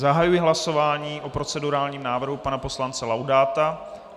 Zahajuji hlasování o procedurálním návrhu pana poslance Laudáta.